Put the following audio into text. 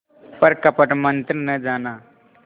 पर कपट मन्त्र न जाना